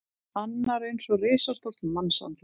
Annar eins og risastórt mannsandlit.